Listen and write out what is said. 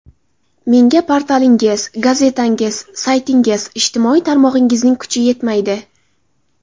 Menga portalingiz, gazetangiz, saytingiz, ijtimoiy tarmog‘ingizning kuchi yetmaydi.